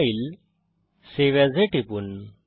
file save as এ টিপুন